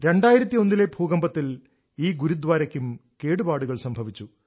2001 ലെ ഭൂകമ്പത്തിൽ ഈ ഗുരുദ്വാരയ്ക്കും കേടുപാടുകൾ സംഭവിച്ചു